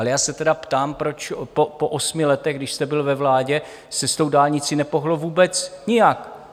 Ale já se tedy ptám, proč po osmi letech, když jste byl ve vládě, se s tou dálnicí nepohnulo vůbec nijak?